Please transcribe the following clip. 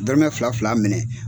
Dɔrɔmɛ fila fila minɛ